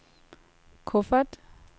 kuffert